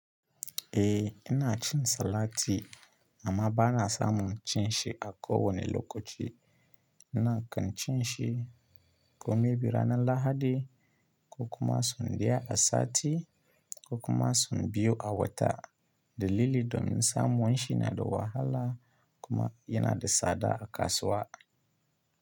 Eh ina cin salati amma ba na samun cin shi a kowane lokaci. Ina kan cin shi ko maybe ranar Lahadi, ko kuma sau ɗaya a sati ko kuma sau biyu a wata. Dalili domin samun shi yana da wahala kuma yana da tsada a kasuwa.